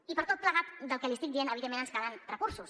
i per tot plegat del que li estic dient evidentment ens calen recursos